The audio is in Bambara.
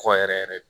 Kɔ yɛrɛ yɛrɛ